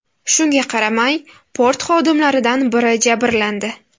Shunga qaramay, port xodimlaridan biri jabrlandi.